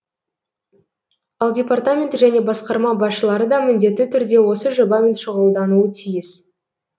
ал департамент және басқарма басшылары да міндетті түрде осы жобамен шұғылдануы тиіс